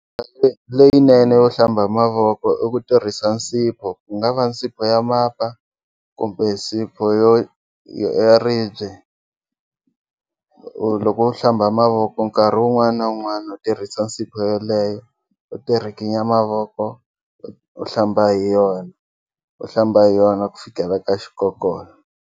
Ndlela leyinene yo hlamba mavoko i ku tirhisa nsipho ku nga va nsipho ya mapa kumbe nsipho yo yo ya ribye loko u hlamba mavoko nkarhi wun'wana na wun'wana u tirhisa nsipho yeleyo u ti rhikinya mavoko u hlamba hi yona u hlamba hi yona ku fikela ka xikokola.